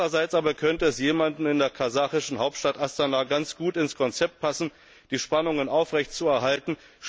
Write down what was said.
Andererseits könnte es jemandem in der kasachischen Hauptstadt Astana ganz gut ins Konzept passen, die Spannungen aufrecht zu erhalten.